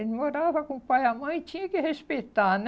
Ele morava com o pai e a mãe e tinha que respeitar, né?